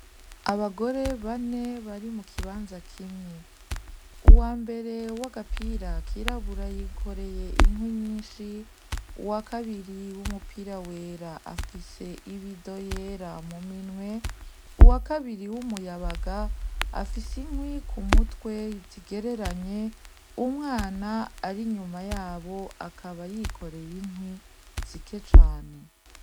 Abagore bane bari mukibanza kimwe, uwambere w'agapira k'irabura yikoreye inkwi nyinshi, uwakabiri w'umupira wera afise ibido yera muminwe, uwakabiri w'umuyabaga afise inkwi k'umutwe zigereranye, Umwana ari inyuma yabo akaba yikoreye inkwi zike cane.